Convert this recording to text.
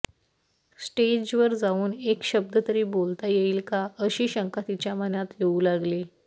स्टेजवर जाऊन एक शब्द तरी बोलता येईल का अशी शंका तिच्या मनात येऊ लागली